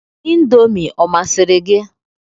Indomi ọ masịrị gị?